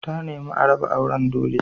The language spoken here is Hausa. Ta nemi a raba auren dole.